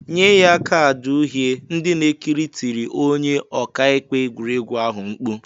"Nye ya kaadị uhie" ndị na-ekiri tiri onye ọka ikpe egwuriegwu ahụ mkpu. "